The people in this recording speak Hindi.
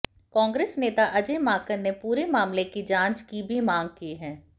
कांग्रेस नेता अजय माकन ने पूरे मामले की जांच की भी मांग की है